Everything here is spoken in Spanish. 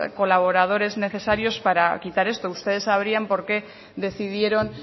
colaboradores necesarios para quitar esto ustedes sabrían por qué decidieron